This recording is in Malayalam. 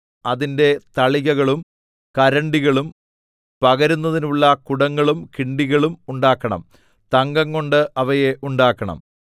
അതിന്റെ തളികകളും കരണ്ടികളും പകരുന്നതിനുള്ള കുടങ്ങളും കിണ്ടികളും ഉണ്ടാക്കണം തങ്കംകൊണ്ട് അവയെ ഉണ്ടാക്കണം